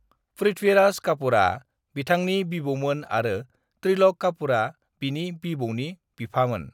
पृथ्वीराज कापूरआ बिथांनि बिबौमोन आरो त्रिलक कापूरआ बिनि बिबौनि बिफामोन।